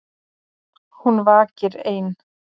Hún vakir ein.